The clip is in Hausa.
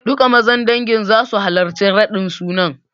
Duka Mazan dangin zasu halarci raɗin sunan.